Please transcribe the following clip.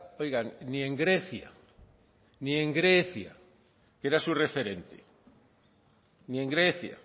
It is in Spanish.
oigan ni en grecia ni en grecia que era su referente ni en grecia